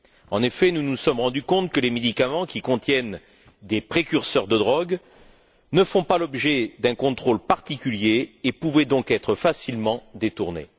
En effet, nous nous sommes rendu compte que les médicaments qui contiennent des précurseurs de drogues ne font pas l'objet d'un contrôle particulier et peuvent donc facilement être détournés.